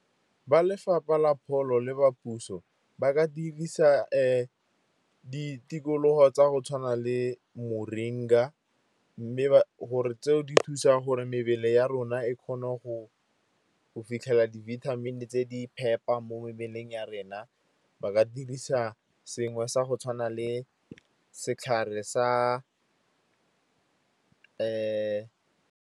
Ba lefapha la pholo, le ba puso ba ka dirisa ditikologo tsa go tshwana le moringa, mme gore tseo di thusa gore mebele ya rona e kgone go fitlhela di-vitamin-e tse di phepa mo mebeleng ya rena. Ba ka dirisa sengwe sa go tshwana le setlhare sa .